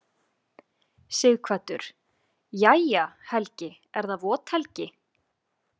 Sighvatur: Jæja, Helgi er það vot helgi?